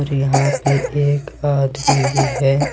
और यहां पे एक आदमी भी है।